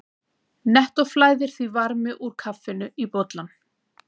Nettó flæðir því varmi úr kaffinu í bollann.